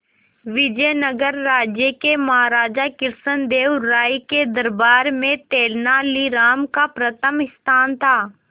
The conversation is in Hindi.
विजयनगर राज्य के महाराजा कृष्णदेव राय के दरबार में तेनालीराम का प्रथम स्थान था